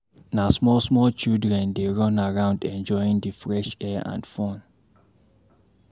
Na small small children dey run around enjoying di fresh air and fun.